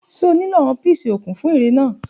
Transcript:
Ṣe o nlo awọ píìṣì kun fun ere naa?